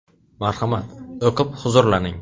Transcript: Marhamat, o‘qib huzurlaning.